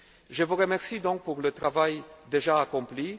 Je vous remercie pour le travail déjà